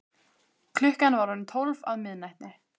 Klukkan var orðin tólf á miðnætti.